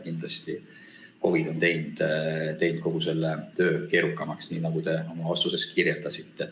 Kindlasti on COVID teinud kogu selle töö keerukamaks, nagu te oma vastuses kirjeldasite.